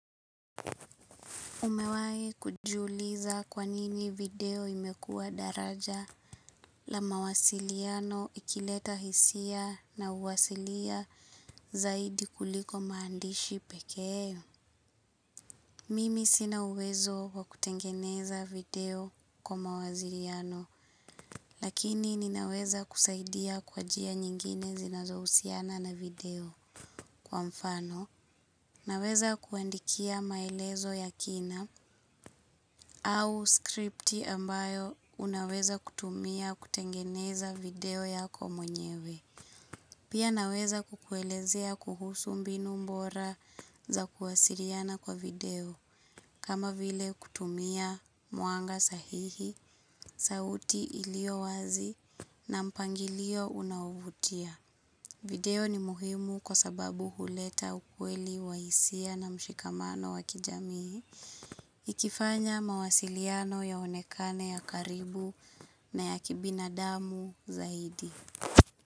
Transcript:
Umewahi kujiuliza kwa nini video imekuwa daraja la mawasiliano ikileta hisia na uhalisia zaidi kuliko maandishi pekee. Mimi sina uwezo kwa kutengeneza video kwa mawasiliano, lakini ninaweza kusaidia kwa njia nyingine zinazohusiana na video kwa mfano. Naweza kuandikia maelezo ya kina au script ambayo unaweza kutumia kutengeneza video yako mwenyewe. Pia naweza kukuelezea kuhusu mbinu bora za kuwasiliana kwa video. Kama vile kutumia mwanga sahihi, sauti iliyawazi na mpangilio unaovutia video ni muhimu kwa sababu huleta ukweli wa hisia na mshikamano wa kijamii, ikifanya mawasiliano yaonekane ya karibu na ya kibinadamu zaidi.